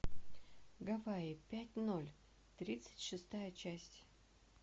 гавайи пять ноль тридцать шестая часть